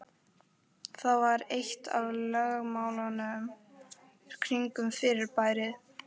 Það var eitt af lögmálunum kringum fyrirbærið.